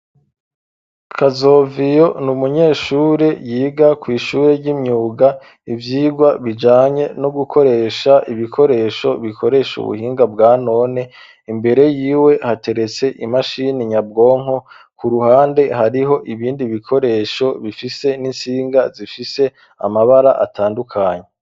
Kazoviyo ni umunyeshure yiga kw'ishure ry'imyuga, ivyigwa bijanye no gukoresha ibikoresho bikoresha ubuhinga bwa none. Imbere y'iwe hateretse imashini nyabwonko. K'uruhande hariho ibindi bikoresho bifise n'intsinga zifise amabara atandukanye.